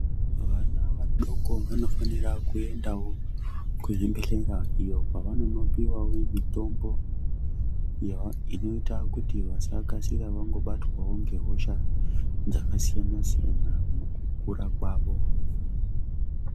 Vana vadoko vanofanira kuendawo kuzvibhedhlera iyo kwavanonopiwawo mitombo iyo inoita kuti vasakasira vangobatwawo ngehosha dzakasiyana-siyana mukukura kwavo.